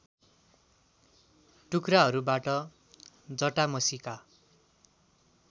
टुक्राहरूबाट जटामसीका